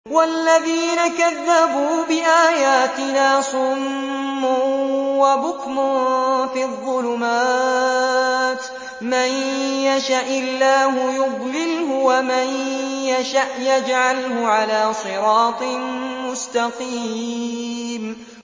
وَالَّذِينَ كَذَّبُوا بِآيَاتِنَا صُمٌّ وَبُكْمٌ فِي الظُّلُمَاتِ ۗ مَن يَشَإِ اللَّهُ يُضْلِلْهُ وَمَن يَشَأْ يَجْعَلْهُ عَلَىٰ صِرَاطٍ مُّسْتَقِيمٍ